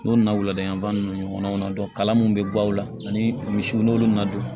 N'o na wuladan ninnu ɲɔgɔnnaw kalan min bɛ baw la ani misiw n'olu nana don